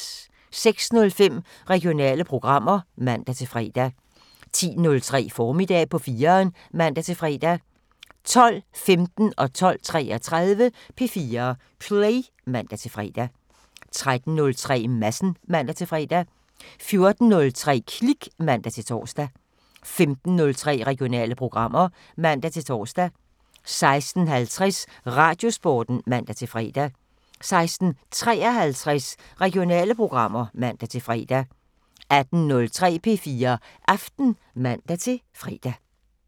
06:05: Regionale programmer (man-fre) 10:03: Formiddag på 4'eren (man-fre) 12:15: P4 Play (man-fre) 12:33: P4 Play (man-fre) 13:03: Madsen (man-fre) 14:03: Klik (man-tor) 15:03: Regionale programmer (man-tor) 16:50: Radiosporten (man-fre) 16:53: Regionale programmer (man-fre) 18:03: P4 Aften (man-fre)